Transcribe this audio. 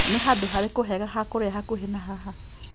Nĩ handũ harĩku hega ha kũrĩa hakuhĩ na haha?